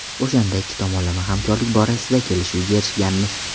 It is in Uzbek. O‘shanda ikki tomonlama hamkorlik borasida kelishuvga erishganmiz.